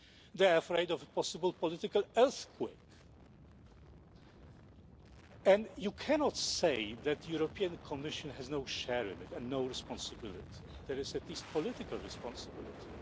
They are afraid of a possible political earthquake and you cannot say that the European Commission has no share in it and no responsibility there is at least political responsibility.